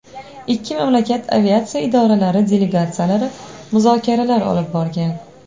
Ikki mamlakat aviatsiya idoralari delegatsiyalari muzokaralar olib borgan.